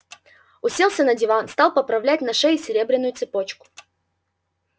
уселся на диван стал поправлять на шее серебряную цепочку